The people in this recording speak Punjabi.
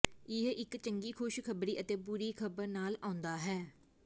ਇਹ ਇੱਕ ਚੰਗੀ ਖ਼ੁਸ਼ ਖ਼ਬਰੀ ਅਤੇ ਬੁਰੀ ਖ਼ਬਰ ਨਾਲ ਆਉਂਦਾ ਹੈ